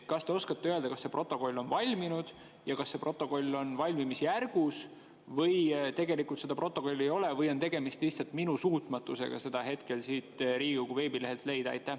Kas te oskate öelda, kas see protokoll on valminud, on see protokoll valmimisjärgus, tegelikult seda protokolli ei ole või on tegemist lihtsalt minu suutmatusega seda hetkel siit Riigikogu veebilehelt leida?